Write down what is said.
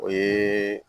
O ye